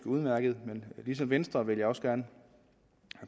udmærket men ligesom venstre vil jeg også gerne